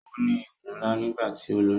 Ó ní ikùn ńlá nígbà tí ó lóyún